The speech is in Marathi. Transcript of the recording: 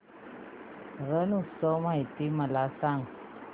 रण उत्सव माहिती मला सांग